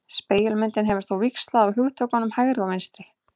Spegilmyndin hefur þó víxlað á hugtökunum hægri og vinstri.